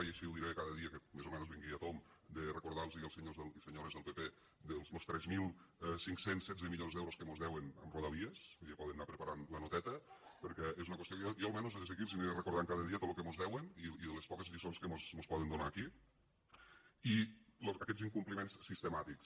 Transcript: i així ho diré cada dia que més o menys vingui a tomb de recordar los als senyors i senyores del pp de los tres mil cinc cents i setze milions d’euros que mos deuen amb rodalies vull dir ja poden anar preparant la noteta perquè és una qüestió que jo almenys des d’aquí els aniré recordant cada dia tot lo que mos deuen i de les poques lliçons que mos poden donar aquí i aquests incompliments sistemàtics